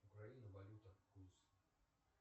украина валюта курс